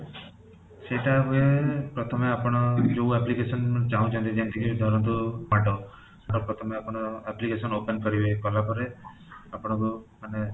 ସେଇଟା ହୁଏ ପ୍ରଥମେ ଆପଣ ଯୋଉ application ଚାହୁଁଛନ୍ତି ଯେମିତି କି ଧରନ୍ତୁ ପ୍ରଥମେ ଆପଣ application open କରିବେ କଲା ପରେ ଆପଣକୁ ମାନେ